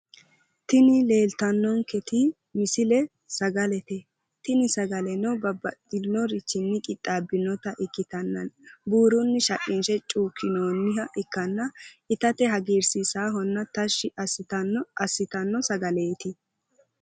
Tini leeltannonketi misile sagalete. Tini sagaleno babbaxxinnorichinni qixaabbinnota ikkitanna buurunni shaqqinshe cuukkinoonniha ikkanna itate hagiirsiisaahonna tashshi assitanno sagaleeti.